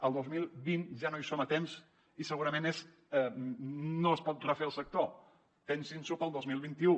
al dos mil vint ja no hi som a temps i segurament no es pot refer el sector pensin s’ho per al dos mil vint u